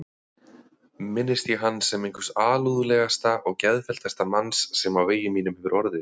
Minnist ég hans sem einhvers alúðlegasta og geðfelldasta manns sem á vegi mínum hefur orðið.